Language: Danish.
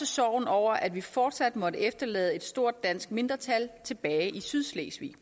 sorg over at vi fortsat måtte efterlade et stort dansk mindretal tilbage i sydslesvig